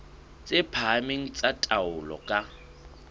tse phahameng tsa taolo ka